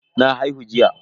Na haihu jiya.